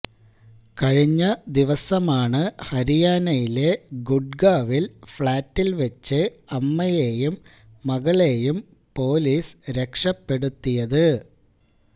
കഴിഞ്ഞ ദിവസമാണ് ഹരിയാനയിലെ ഗുഡ്ഗാവില് ഫ്ളാറ്റില് വച്ച് അമ്മയെയും മകളെയും പൊലീസ് രക്ഷപ്പെടുത്തിയത്